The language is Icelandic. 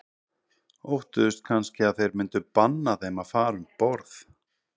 Óttuðust kannski að þeir myndu banna þeim að fara um borð.